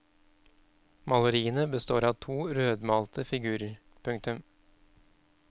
Maleriene består av to rødmalte figurer. punktum